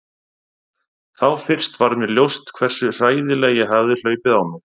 Þá fyrst varð mér ljóst hversu hræðilega ég hafði hlaupið á mig.